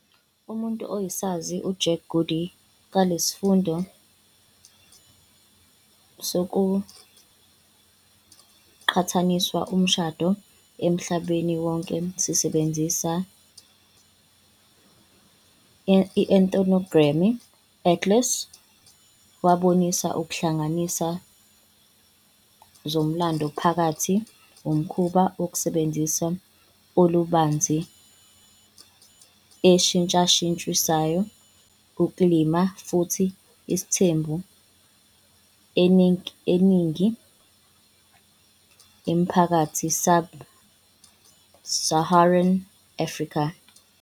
Umuntu oyisazi Jack Goody ka- lesifundvo sekucatsanisa umshado emhlabeni wonke sisebenzisa Ethnography Atlas wabonisa ukuhlanganisa zomlando phakathi umkhuba wokusebenzisa olubanzi eshintshashintshayo ukulima futhi isithembu e iningi imiphakathi-sub-Saharan Afrika.